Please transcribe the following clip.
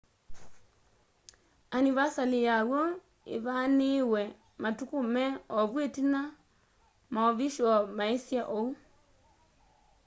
anivasali yaw'o îvanîîwe matuku me ovu itina maovishoo maisye ou